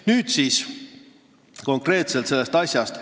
Nüüd konkreetselt sellest asjast.